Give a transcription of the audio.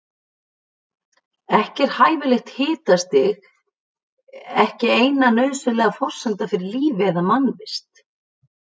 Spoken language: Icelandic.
En hæfilegt hitastig er ekki eina nauðsynlega forsendan fyrir lífi eða mannvist.